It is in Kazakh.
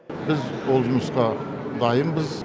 біз ол жұмысқа дайынбыз